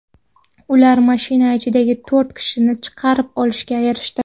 Ular mashina ichidagi to‘rt kishini chiqarib olishga erishdi.